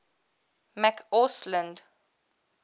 mccausland